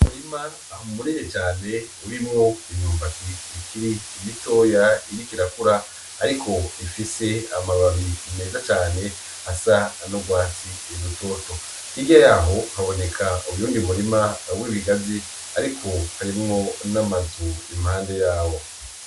Umurima munini cane ,urimwo imyumbati ikiri mitoya ikiriko irakura ,ariko ifise amababi meza cane asa n'urwatsi rutoto, hirya yaho haboneka uyundi murima w'ibigazi ariko harimwo n'amazu impande yawo.